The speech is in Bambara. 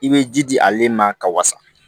I bɛ ji di ale ma ka wasa